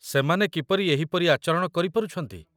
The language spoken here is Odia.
ସେମାନେ କିପରି ଏହିପରି ଆଚରଣ କରିପାରୁଛନ୍ତି?